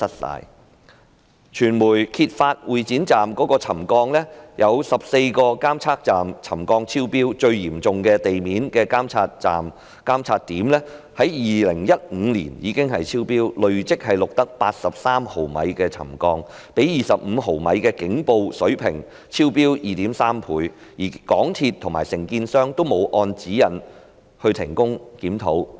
另外，傳媒揭發會展站出現沉降，有14個監測點沉降超標，最嚴重的地面監測點在2015年已經超標，累積錄得83毫米沉降，較25毫米的警報水平超標 2.3 倍，而港鐵公司和承建商均沒有按指引停工檢討。